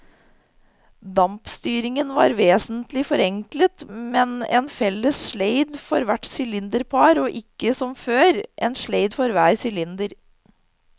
Dampstyringen var vesentlig forenklet med en felles sleid for hvert sylinderpar og ikke som før, en sleid for hver sylinder.